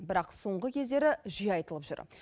бірақ соңғы кездері жиі айтылып жүр